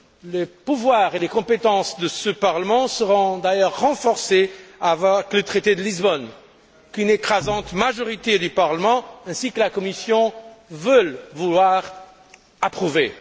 Le pouvoir et les compétences de ce Parlement seront d'ailleurs renforcés avec le traité de Lisbonne qu'une écrasante majorité du Parlement, ainsi que la Commission, veulent approuver